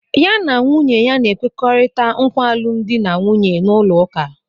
Ya na nwunye ya na-ekwekọrịta nkwa alụmdi na nwunye n'ụlọụka.